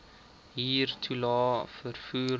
huurtoelae vervoer toelae